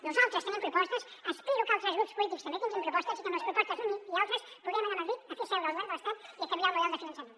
nosaltres tenim propostes espero que altres grups polítics també tinguin propostes i que amb les propostes d’uns i altres puguem anar a madrid a fer seure el govern de l’estat i a canviar el model de finançament